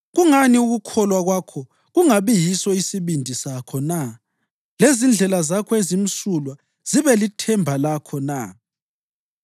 Kungani ukukholwa kwakho kungabi yiso isibindi sakho na lezindlela zakho ezimsulwa zibe lithemba lakho na?